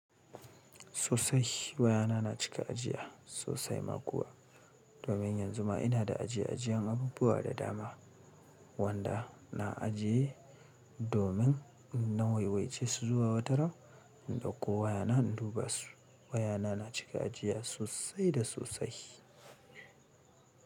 Sosai, wayana na cika ajiya, sosai ma kuwa. Domin yanzu ma ina da ajiye ajiyen abubuwa da dama. Wanda, na ajiye domin in na waiwace su zuwa wataran, in dauko wayana in duba su. Wayana na cika ajiya sosai da sosai.